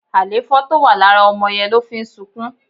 Alefo tó wà lára ọmọ yẹn ló ń fí sunkún